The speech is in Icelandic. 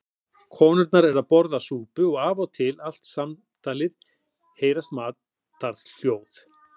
Konurnar eru að borða súpu og af og til allt samtalið heyrast matarhljóð.